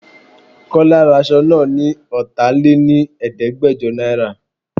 Kọ́lá ra aṣọ náà ni ọta lé ní Ẹ̀ẹ́dẹ́gbẹjọ náírà.